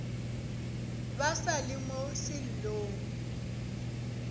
ba sa le mo sellong